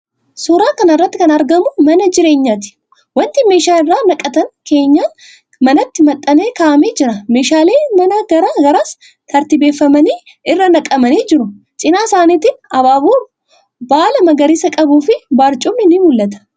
Suuraa kana irratti kan argamu mana jireenyaati. Wanti meeshaa irra naqatan keenyan manaatti maxxanee kaa'amee jira. Meeshaaleen manaa garaa garaas tartiibeffamanii irra naqamanii jiru. Cina isaaniitiin abaaboon baala magariisa qabuufi barcumni ni mul'ata.